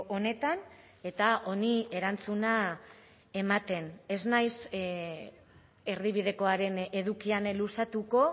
honetan eta honi erantzuna ematen ez naiz erdibidekoaren edukian luzatuko